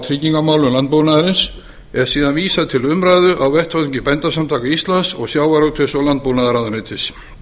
tryggingamálum landbúnaðarins er síðan vísað til umræðu á vettvangi bændasamtaka íslands og sjávarútvegs og landbúnaðarráðuneytisins